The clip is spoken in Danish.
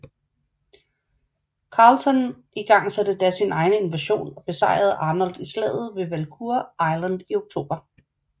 Carleton igangsatte da sin egen invasion og besejrede Arnold i slaget ved Valcour Island i oktober